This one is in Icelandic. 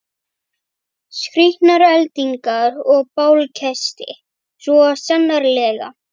Skrýtnar eldingar og bálkesti, svo sannarlega.